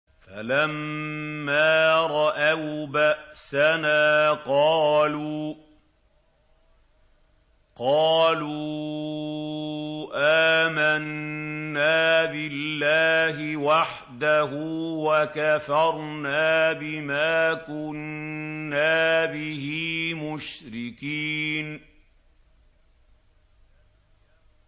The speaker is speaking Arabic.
فَلَمَّا رَأَوْا بَأْسَنَا قَالُوا آمَنَّا بِاللَّهِ وَحْدَهُ وَكَفَرْنَا بِمَا كُنَّا بِهِ مُشْرِكِينَ